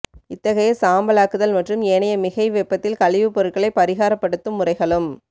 இத்தகைய சாம்பலாக்குதல் மற்றும் ஏனைய மிகை வெப்பத்தில் கழிவுப்பொருட்களை பரிகாரப்படுட்தும் முறைகளும்